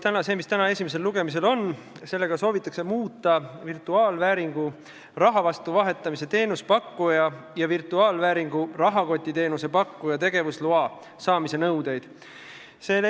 Eelnõuga, mis täna esimesel lugemisel on, soovitakse muuta virtuaalvääringu raha vastu vahetamise teenuse pakkuja ja virtuaalvääringu rahakotiteenuse pakkuja tegevusloa saamise nõudeid.